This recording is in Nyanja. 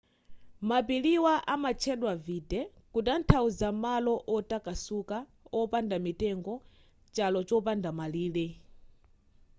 mapiriwa amatchedwa vidde kutanthauza malo otakasuka opanda mitengo chalo chopanda malire